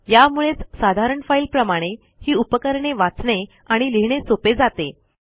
यामुळेच साधारण फाईलप्रमाणे ही उपकरणे वाचणे आणि लिहिणे सोपे जाते